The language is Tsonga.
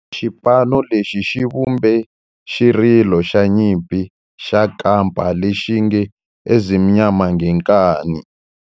Xipano lexi xi vumbe xirilo xa nyimpi xa kampa lexi nge 'Ezimnyama Ngenkani'.